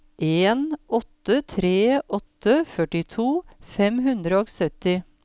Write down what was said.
en åtte tre åtte førtito fem hundre og sytti